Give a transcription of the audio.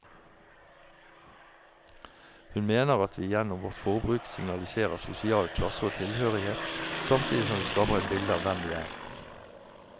Hun mener at vi gjennom vårt forbruk signaliserer sosial klasse og tilhørighet, samtidig som vi skaper et bilde av hvem vi er.